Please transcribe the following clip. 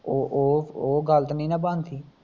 ਉਹ ਉਹ ਓਹ ਗੱਲ ਤੇ ਨੀ ਨਾ ਬਣਦੀ